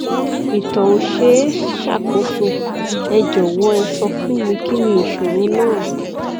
ìtọ ò ṣe é ṣàkóso ẹ jọwọ ẹ sọ fún mi kí ni ìṣòro náà